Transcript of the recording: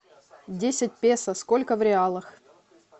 десять песо сколько в реалах